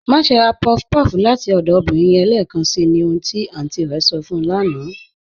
Máṣè rá puff-puff láti ọdọ obìnrin yẹn lẹẹkànṣí, ní ohun tí àntí rẹ̀ sọ̀ fún ù lána"